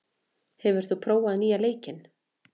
, hefur þú prófað nýja leikinn?